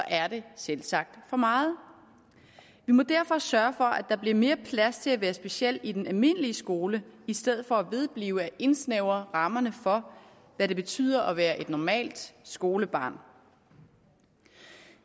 er det selvsagt for meget vi må derfor sørge for at der bliver mere plads til at være speciel i den almindelige skole i stedet for at vedblive med at indsnævre rammerne for hvad det betyder at være et normalt skolebarn